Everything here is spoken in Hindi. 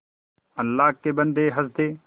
अल्लाह के बन्दे हंस दे